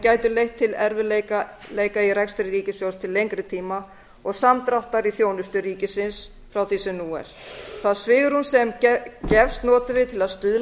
gætu leitt til erfiðleika í rekstri ríkissjóðs til lengri tíma og samdráttar í þjónustu ríkisins frá því sem nú er það svigrúm sem gefst notum við til að stuðla